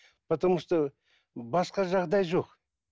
потому что басқа жағдай жоқ